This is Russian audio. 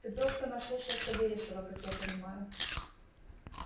ты просто наслушался вересова как я понимаю